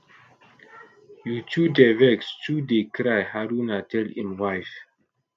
you too dey too dey cry haruna tell im wife